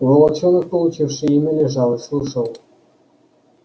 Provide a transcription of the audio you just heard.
волчонок получивший имя лежал и слушал